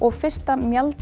fyrsta